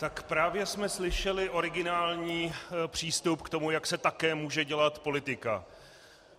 Tak právě jsme slyšeli originální přístup k tomu, jak se také může dělat politika.